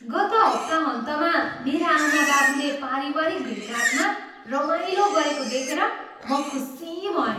गत हप्ताहन्तमा मेरा आमाबाबुले पारिवारिक भेटघाटमा रमाइलो गरेको देखेर म खुसी भएँ।